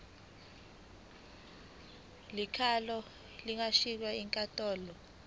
likhokhelwe lingashintshwa yinkantolo